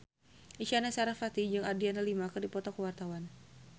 Isyana Sarasvati jeung Adriana Lima keur dipoto ku wartawan